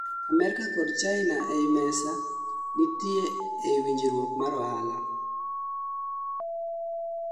Amerka kod china ie mesa nitie ei winjruok mar ohala